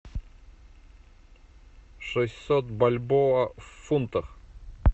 шестьсот бальбоа в фунтах